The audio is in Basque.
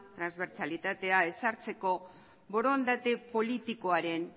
transbertsalitatea ezartzeko borondate politikoaren